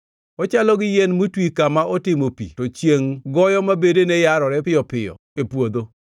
Ochalo gi yien motwi kama otimo pi to chiengʼ goyo ma bedene yarore piyo piyo e puodho;